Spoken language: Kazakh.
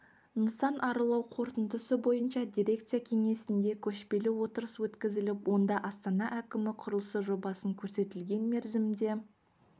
нысан аралау қорытындысы бойынша дирекция кеңсесінде көшпелі отырыс өткізіліп онда астана әкімі құрылысы жобасын көрсетілген мерзімде